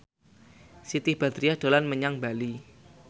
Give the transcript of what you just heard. Siti Badriah dolan menyang Bali